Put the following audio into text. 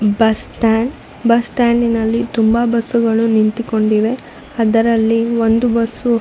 bus stand bus stand ನಲ್ಲಿ ತುಂಬಾ bus ಗಳು ನಿಂತುಕೊಂಡಿವೆ ಅದರಲ್ಲಿ ಒಂದು ಬಸ್ --